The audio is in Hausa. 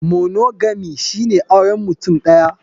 Monogamy shine auren mutum ɗaya.